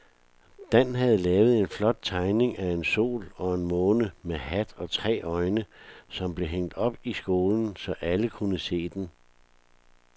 Dan havde lavet en flot tegning af en sol og en måne med hat og tre øjne, som blev hængt op i skolen, så alle kunne se den.